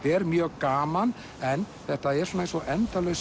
er mjög gaman en þetta er eins og endalaus